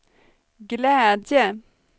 glädje